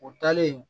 O taalen